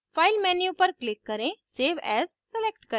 file menu पर click करें save as select करें